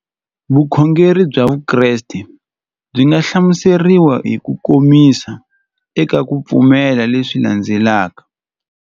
Vukhongeri bya Vukreste byi nga hlamuseriwa hi kukomisa eka ku pfumela leswi landzelaka.